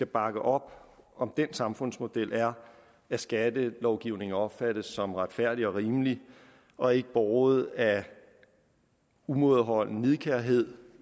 bakke op om den samfundsmodel er at skattelovgivningen opfattes som retfærdig og rimelig og ikke båret af umådeholden nidkærhed